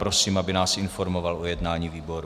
Prosím, aby nás informoval o jednání výboru.